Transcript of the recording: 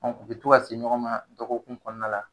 Ɔn u be tɔ ka se ɲɔgɔn ma ,dɔgɔkun kɔnɔna la.